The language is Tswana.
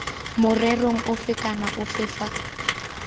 morerong ofe kana ofe fa